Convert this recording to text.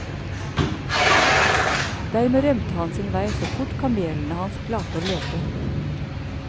Dermed rømte han sin vei så fort kamelene hans klarte å løpe.